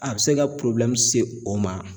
A bi se ka se o ma.